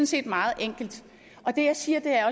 set meget enkelt det jeg siger er